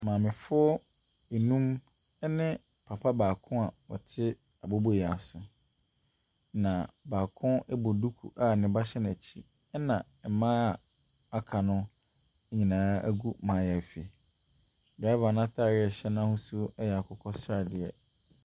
Maamefoɔ num ne papa baako a ɔte aboboyaa so. Baako bɔ dumu a ne ba hyɛ n'akyi. Na mmaa a aka no nyinaa gu mayaafi. Barima no ataadeɛ no ahosuo yɛ akokɔsradeɛ.